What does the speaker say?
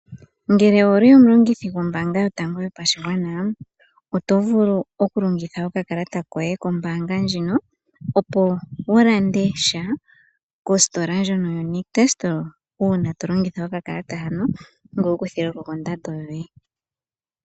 Ngele owuli omulongithi gombaanga yotango yopashigwana, otovulu oku longitha okakalata koye kombaanga ndjino, opo wulandesha kositola ndjino yo Nictus, ngoye wu kuthilwe ko kondando yoye.